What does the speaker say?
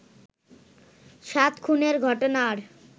সাত খুনের ঘটনার